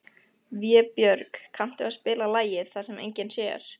Vébjörg, kanntu að spila lagið „Það sem enginn sér“?